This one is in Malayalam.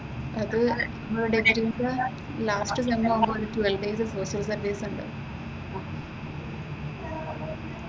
അതുകഴിഞ്ഞു ഇവിടെ എങ്ങനെയാന്നെന്നു വച്ചാൽ ലാസ്‌റ് മന്താകുമ്പോൾ ഒരു ട്വൽവ് ഡേയ്സ് പ്ലേസ്മെന്റ് അസിസ്റ്റൻസ് ഉണ്ട്.